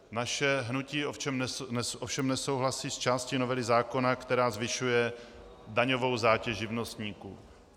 Naše hnutí ovšem nesouhlasí s částí novely zákona, která zvyšuje daňovou zátěž živnostníků.